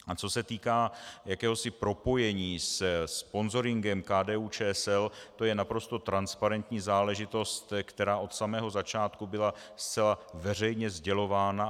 A co se týká jakéhosi propojení se sponzoringem KDU-ČSL, to je naprosto transparentní záležitost, která od samého začátku byla zcela veřejně sdělována.